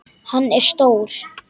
Hann er stór.